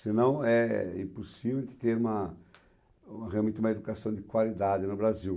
Senão é impossível ter uma uma realmente uma educação de qualidade no Brasil.